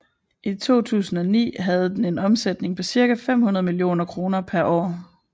I 2009 havde den en omsætning på cirka femhundrede millioner kroner per år